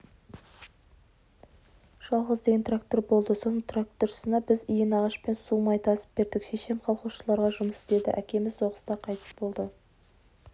жалғыз деген трактор болды соның тракторшысына біз иінағашпен су май тасып бердік шешем колхозшыларға жұмыс істеді әкеміз соғыста қайтыс болды